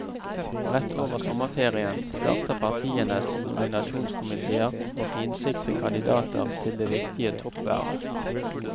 Rett over sommerferien starter partienes nominasjonskomiteer å finsikte kandidater til det viktige toppvervet.